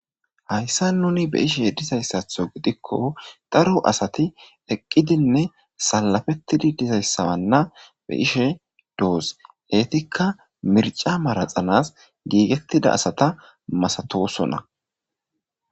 hayssa nuni be ishe dizayssatho gidikko daro asati eqqidinne salafettidi dizayssabanna be ishe doos eetikka mirca maraxanas giigettida asata masatosona